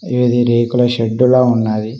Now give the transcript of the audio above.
ఇది రేకుల షెడ్డు లా ఉన్నాది.